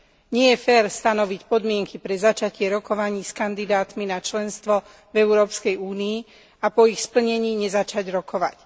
Nie je fér stanoviť podmienky pre začatie rokovaní s kandidátmi na členstvo v Európskej únii a po ich splnení nezačať rokovať.